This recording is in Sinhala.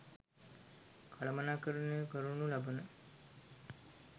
කළමනාකරණය කරනු ලබන